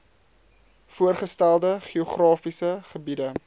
voorgestelde geografiese gebiede